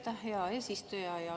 Aitäh, hea eesistuja!